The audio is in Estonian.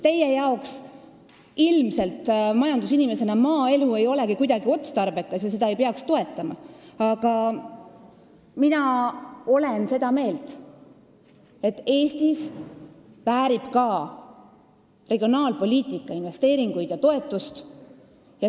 Teie kui majandusinimese arvates ei ole maaelu ilmselt kuidagi otstarbekas ja seda ei peaks toetama, aga mina olen seda meelt, et Eestis väärib ka regionaalpoliitika investeeringuid ja toetust.